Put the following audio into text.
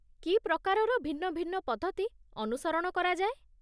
କି ପ୍ରକାରର ଭିନ୍ନ ଭିନ୍ନ ପଦ୍ଧତି ଅନୁସରଣ କରାଯାଏ?